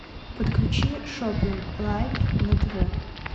подключи шопинг лайф на тв